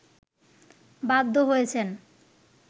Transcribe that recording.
বাধ্য হয়েছেন